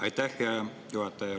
Aitäh, hea juhataja!